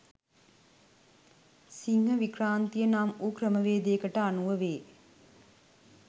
සිංහ වික්‍රාන්තිය නම් වූ ක්‍රමවේදයකට අනුව වේ.